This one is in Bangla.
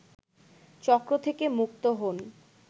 চক্র থেকে মুক্ত হন